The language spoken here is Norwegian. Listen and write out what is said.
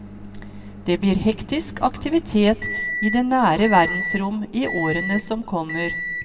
Det blir hektisk aktivitet i det nære verdensrom i årene som kommer.